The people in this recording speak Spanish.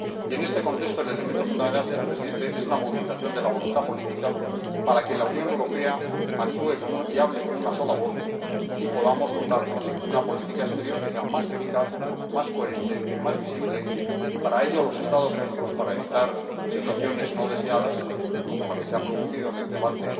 Y en este contexto el elemento fundamental, señor Presidente, es la movilización de la voluntad política para que la Unión Europea actúe y hable con una sola voz y podamos dotarnos de una política exterior que sea más eficaz, más coherente y más visible y, para ello, los Estados miembros —para evitar situaciones no deseadas como la que se ha producido en el debate